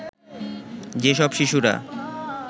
যে সব শিশুরা